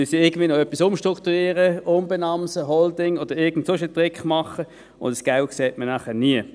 Dann wird noch etwas umstrukturiert und umbenannt, eine Holding oder sonst ein Trick angewandt, und das Geld sieht man nachher nie.